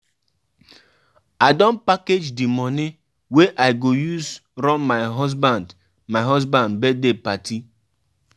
If you no dey careful, you sista go use her talk talk talk take scatter your marriage.